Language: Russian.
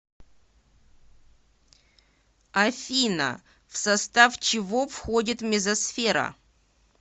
афина в состав чего входит мезосфера